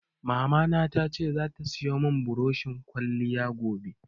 Mamana ta ce zata siyo mun buroshin ƙwaliya gobe